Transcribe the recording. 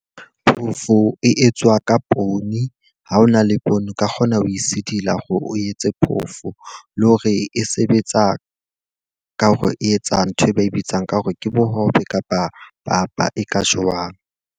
Phofo e etswa ka poone, ha hona le poone o ka kgona ho e sidila hore o etse phofo. Le hore e sebetsa ka hore e etsang nthwe ba e bitsang ka hore ke bohobe kapa papa e ka jewang.